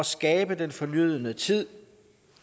skabe den fornødne tid